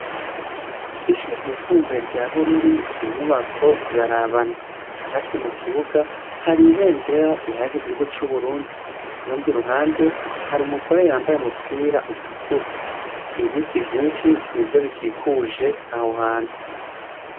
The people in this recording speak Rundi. Ishure ryisumbuye rya bururi, inyubako zirarabana. Hagati mukibuga haribendera rihayagiza igihugu c'uburundi. Kurundi ruhande harumugore yambaye umupira utukura. Ibiti vyishi nivyo bikikuje aho hantu.